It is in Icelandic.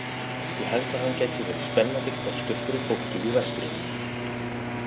Ég held að hann gæti verið spennandi kostur fyrir fólkið í vestrinu.